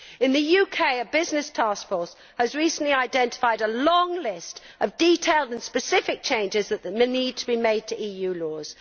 In the UK, a business taskforce recently identified a long list of detailed and specific changes that need to be made to EU laws.